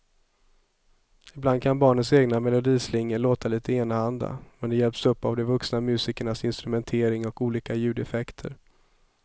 Ibland kan barnens egna melodislingor låta lite enahanda, men de hjälps upp av de vuxna musikernas instrumentering och olika ljudeffekter.